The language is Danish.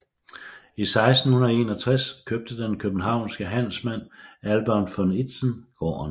I 1661 købte den københavnske handelsmand Albert von Itzen gården